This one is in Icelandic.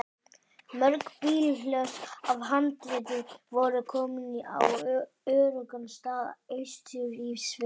Mörg bílhlöss af handritum voru komin á öruggan stað austur í sveitum.